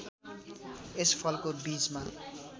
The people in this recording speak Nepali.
यस फलको बीजमा